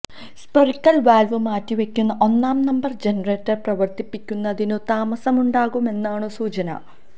spherical valve മാറ്റിവയ്ക്കുന്ന ഒന്നാം number generator പ്രവര്ത്തിപ്പിക്കുന്നതിനു താമസമുണ്ടാകുമെന്നാണു സൂചന